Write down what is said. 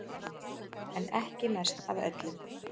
En ekki mest af öllum